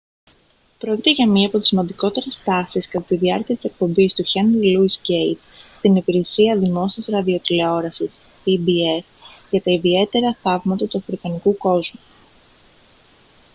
πρόκειται για μία από τις σημαντικότερες στάσεις κατά τη διάρκεια της εκπομπής του χένρι λόυις γκέιτς στην υπηρεσία δημόσιας ραδιοτηλεόρασης pbs για τα ιδιαίτερα θαύματα του αφρικανικού κόσμου